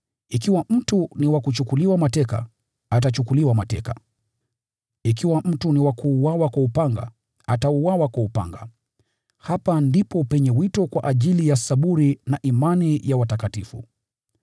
Ikiwa mtu ni wa kuchukuliwa mateka, atachukuliwa mateka. Ikiwa mtu ni wa kuuawa kwa upanga, atauawa kwa upanga. Hapa ndipo penye wito wa subira na imani ya watakatifu.